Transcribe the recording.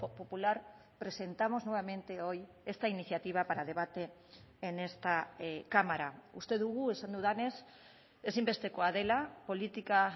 popular presentamos nuevamente hoy esta iniciativa para debate en esta cámara uste dugu esan dudanez ezinbestekoa dela politika